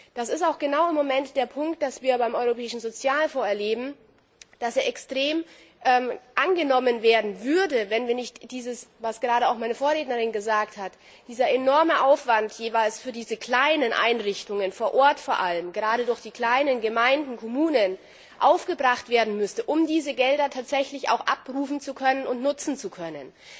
Das ist auch genau das, was wir im Moment beim Europäischen Sozialfonds erleben, dass er extrem angenommen werden würde, wenn nicht was gerade auch meine Vorrednerin gesagt hat für diese kleinen Einrichtungen vor Ort vor allem, gerade durch die kleinen Gemeinden, Kommunen, dieser enorme Aufwand aufgebracht werden müsste, um diese Gelder tatsächlich auch abrufen und nutzen zu können.